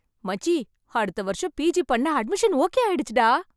மச்சி, அடுத்த வருஷம் பிஜி பண்ண அட்மிஷன் ஓகே ஆயிடுச்சுடா.